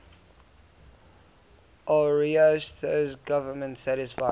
ariosto's government satisfied